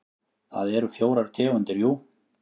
Það eru fjórar tegundir jú.